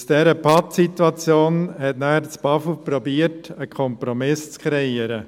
Aus dieser Pattsituation versuchte das Bundesamt für Umwelt (BAFU) danach einen Kompromiss zu kreieren.